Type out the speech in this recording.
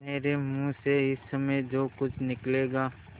मेरे मुँह से इस समय जो कुछ निकलेगा